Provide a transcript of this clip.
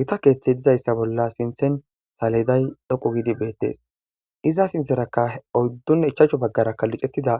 Gita keeththey dizayssa bolla sinthen saliday dhoqu giidi beettees iza sintherakka oyddun ichachu baggarakka lucettida